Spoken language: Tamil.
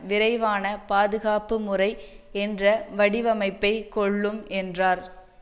விரைவான பாதுகாப்புமுறை என்ற வடிவமைப்பை கொள்ளும் என்றார்